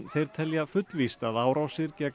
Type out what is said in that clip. þeir telja fullvíst að árásir gegn